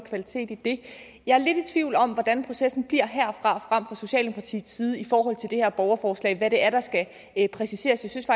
kvalitet i det jeg er lidt i tvivl om hvordan processen fra socialdemokratiets side i forhold til det her borgerforslag altså hvad det er der skal præciseres jeg synes